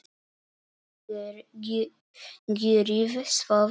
Gjörið svo vel!